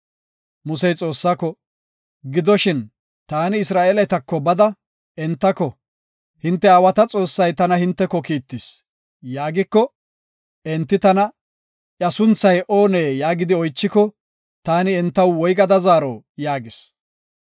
Musey Xoossaako, “Gidoshin, taani Isra7eeletako bada entako, ‘Hinte aawata Xoossay tana hinteko kiittis’ yaagiko, enti tana, ‘Iya sunthay oonee?’ yaagidi oychiko, taani entaw woygada zaaro” yaagis.